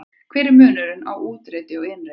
Hver er munurinn á úteitri og inneitri?